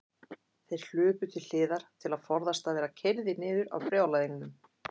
Þeir hlupu til hliðar til að forðast að verða keyrðir niður af brjálæðingnum.